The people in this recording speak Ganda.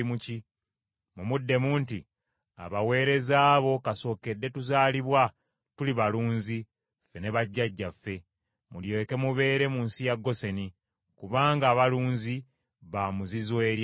Mumuddemu nti, ‘Abaweereza bo kasookedde tuzaalibwa tuli balunzi, ffe ne bajjajjaffe.’ Mulyoke mubeere mu nsi ya Goseni, kubanga abalunzi baamuzizo eri Abamisiri.”